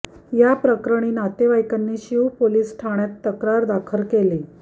या प्रकरणी नातेवाइकांनी शीव पोलिस ठाण्यात तक्रार दाखल केली